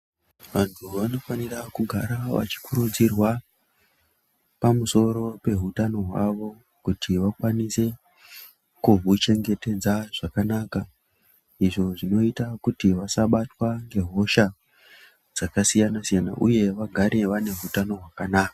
Vantu vanofana kugara vachikurudzirwa pamusoro peutano hwavo kuti vakwanise kuhuchengetedza zvakanaka izvo zvinoita kuti vasabatwa ngehosha dzakasiyana-siyana uye vagare vane utano hwakanaka.